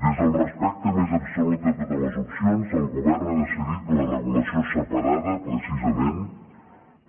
des del respecte més absolut a totes les opcions el govern n’ha decidit la regulació separada precisament